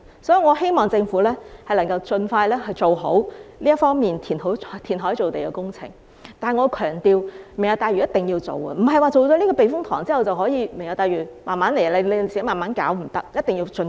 所以，我希望政府能夠盡快做好填海造地方面的工程，但我要強調，"明日大嶼"一定要進行，而不是說做了觀塘避風塘填海工程，"明日大嶼"便可以慢慢來，這是不可以的，一定要盡快。